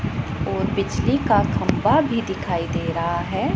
और बिजली का खंभा भी दिखाई दे रहा है।